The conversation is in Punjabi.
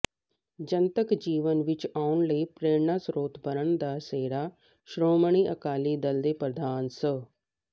ਜਨਤਕ ਜੀਵਨ ਵਿਚ ਆਉਣਲਈ ਪ੍ਰੇਰਨਾ ਸਰੋਤ ਬਣਨ ਦਾ ਸਿਹਰਾ ਸ਼੍ਰੋਮਣੀ ਅਕਾਲੀ ਦਲ ਦੇ ਪ੍ਰਧਾਨ ਸ